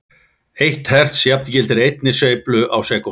Eitt herts jafngildir einni sveiflu á sekúndu.